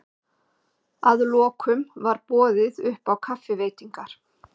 Að lokum varboðið upp á kaffiveitingar